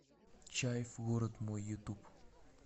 чайф город мой ютуб